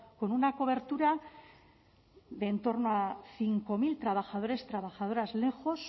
con una cobertura de entorno a cinco mil trabajadores trabajadoras lejos